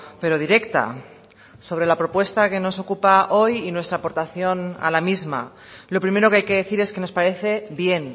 pero directa sobre la propuesta que nos ocupa hoy y nuestra aportación a la misma lo primero que hay que decir es que nos parece bien